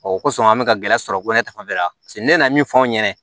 O kosɔn an bɛ ka gɛlɛya sɔrɔ ko ne ta fanfɛla ne nana min fɔ an ɲɛna